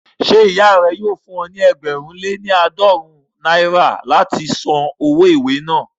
Ṣé ìyá rẹ yóò fún ọ ní ẹgbẹ̀rún lé ní àádọ́rùn-ún láti san owó ìwé náà